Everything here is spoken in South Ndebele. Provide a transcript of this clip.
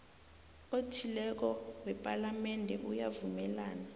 othileko wepalamende uyavumelana